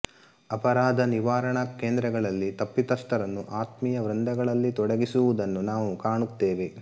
ಅಪರಾಧ ನಿವಾರಣಾ ಕೇಂದ್ರಗಳಲ್ಲಿ ತಪ್ಪಿತಸ್ಥರನ್ನು ಆತ್ಮೀಯ ವೃಂದಗಳಲ್ಲಿ ತೊಡಗಿಸುವುದನ್ನು ನಾವು ಕಾಣುತ್ತೇವೆ